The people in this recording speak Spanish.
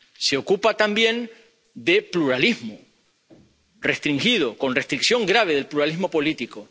Se ocupa también de pluralismo restringido, con restricción grave del pluralismo político.